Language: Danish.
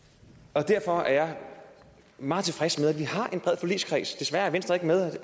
derfor er jeg meget tilfreds med at vi har en bred forligskreds desværre er venstre ikke med